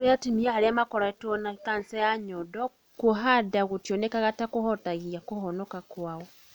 Kũrĩ atumia arĩa makoretwo na kanca ya nyondo, kũoha nda gũtionekaga ta kũhutagia kũhonoka kwao.